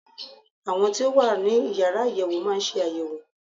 Àwọn tí ó wà ní Yàrá àyẹ̀wò má ń ṣe àyẹ̀wò.